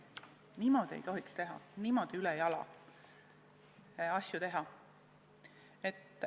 Niimoodi ei tohiks teha, niimoodi ülejala ei tohiks asju ajada!